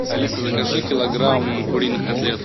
алиса закажи килограмм куриных котлет